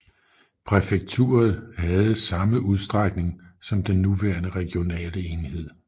Præfekturet havde samme udstrækning som den nuværende regionale enhed